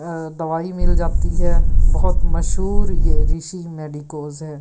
दवाई मिल जाती है बहुत मशहूर ये ऋषि मेडिकोस है।